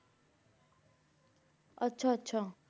ਆਚਾ ਆਚਾ